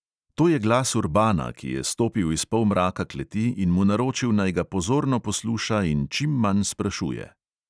To je glas urbana, ki je stopil iz polmraka kleti in mu naročil, naj ga pozorno posluša in čim manj sprašuje.